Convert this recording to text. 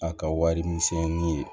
A ka wari misɛnnin ye